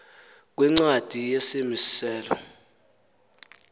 kwincwadi yesimi selo